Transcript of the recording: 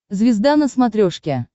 звезда на смотрешке